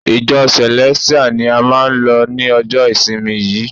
Ìjọ Celestial ni a máà lọ ni ọjọ ìsinmi yìí.